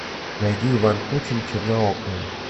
найди иван кучин черноокая